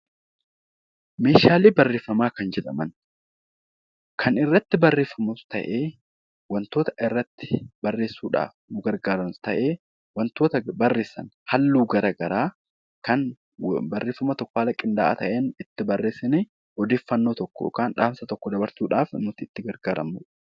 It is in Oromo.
Meeshaalee barreeffamaa kan jedhaman kan irratti barreeffamus ta'e, wantoota irratti barreessuu dhaaf nu gargaaranis ta'ee, wantoota bv arreessan halluu gara garaa kan barreeffama tokko haala qindaa'aa ta'een, itti barreessinee odeeffannoo tokko yookaan dhaamsa tokko dabarsuu dhaaf nuti itti gargaaramnu dha.